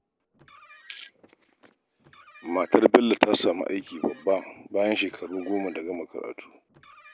Matar Bello ta samu aiki babba bayan shekaru goma da gama karatu